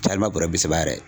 Caalenba bɔrɛ bi saba yɛrɛ